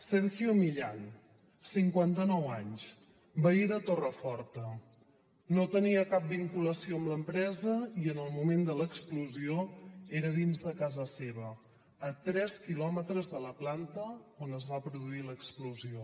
sergio millán cinquanta nou anys veí de torreforta no tenia cap vinculació amb l’empresa i en el moment de l’explosió era dins de casa seva a tres quilòmetres de la planta on es va produir l’explosió